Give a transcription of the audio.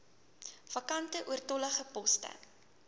vakante oortollige poste